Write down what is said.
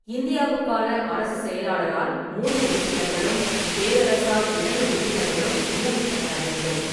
இந்தியாவுக்கான அரசுச் செயலாளரால் மூன்று உறுப்பினர்களும், பேரரசரால் இரண்டு உறுப்பினர்களும் நியமிக்கப்பட வேண்டும்.